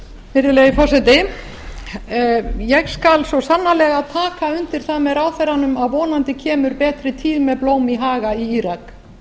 virðulegi forseti ég skal svo sannarlega taka undir það með ráðherranum að vonandi kemur betri tíð með blóm í haga í írak